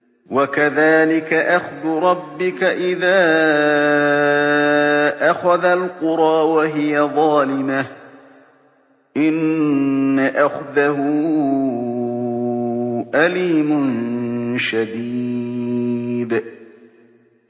وَكَذَٰلِكَ أَخْذُ رَبِّكَ إِذَا أَخَذَ الْقُرَىٰ وَهِيَ ظَالِمَةٌ ۚ إِنَّ أَخْذَهُ أَلِيمٌ شَدِيدٌ